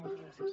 moltes gràcies